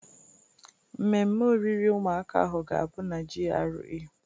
Mmemme oriri ụmụaka ahụ ga-abụ na GRA.